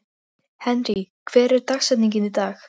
Henry, hver er dagsetningin í dag?